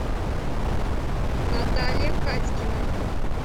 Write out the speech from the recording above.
наталья катькина